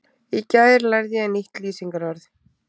Í gær lærði ég nýtt lýsingarorð.